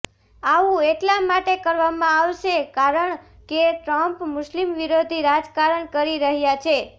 આવું એટલા માટે કરવામાં આવશે કારણ કે ટ્રંપ મુસ્લિમ વિરોધી રાજકારણ કરી રહ્યા છે